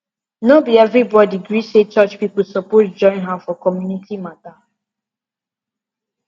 no be everybody gree say church people suppose join hand for community matter